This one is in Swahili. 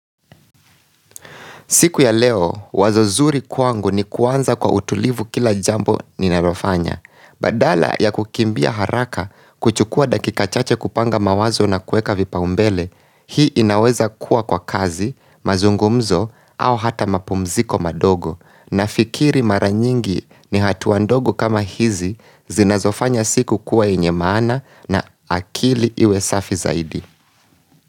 Siku ya leo, wazo zuri kwangu ni kuanza kwa utulivu kila jambo ninalofanya. Badala ya kukimbia haraka kuchukua dakika chache kupanga mawazo na kuweka vipaombele, hii inaweza kuwa kwa kazi, mazungumzo, au hata mapumziko madogo. Nafikiri mara nyingi ni hatua ndogo kama hizi zinazofanya siku kuwa yenye maana na akili iwe safi zaidi.